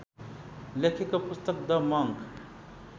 लेखेको पुस्तक the monk